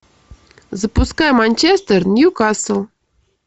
запускай манчестер ньюкасл